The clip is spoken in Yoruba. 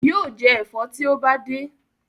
Yóò jẹ ẹ̀fọ́ tí ó bá dé.